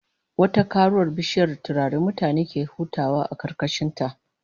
Wata karuwar bishiyar turare mutane ke hutawa a karkashin ta